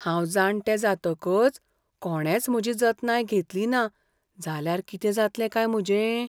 हांव जाणटें जातकच कोणेंच म्हजी जतनाय घेतली ना जाल्यार कितें जातलें काय म्हजें?